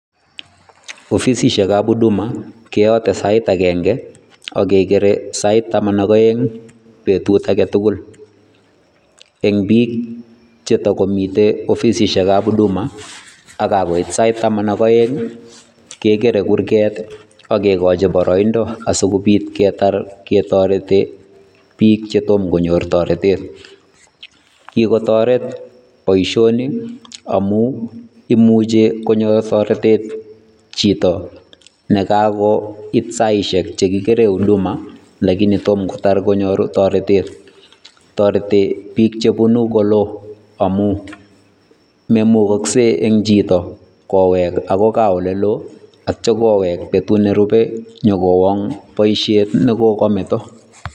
Ofisisiekab huduma keyote sait akenge ak kekere sait taman ak aeng betut age tugul, eng piik che takomitei ofisisiekab huduma ak kakoit sait taman ak aeng ii, kekere kurget ii ak kekochi boroindo asi kobit ketar ketoreti piik che tom konyor toretet. Kikotoret boisioni amu imuchi konyor toretet chito ne kakoit saisiek che kikere huduma lakini tom kotar konyoru toretet, toreti piik chebunu koloo amu, memukokse eng chito kowek ako gaa ole loo atya koweek betut nerube nyokowong boisiet ne kokameto.